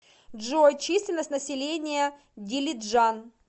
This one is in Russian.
джой численность населения дилиджан